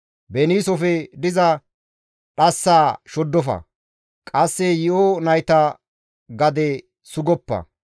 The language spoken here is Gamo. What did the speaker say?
Beniisofe diza dhassaa shoddofa. Qasse yi7o nayta gade sugoppa;